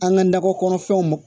An ka nakɔ kɔnɔfɛnw